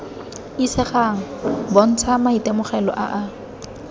isegang bontsha maitemogelo a a